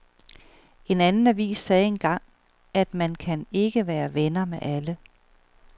En anden avis sagde engang, at man kan ikke være venner med alle.